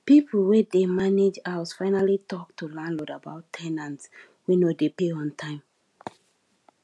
people wey dey manage house finally talk to landlord about ten ants wey no dey pay on time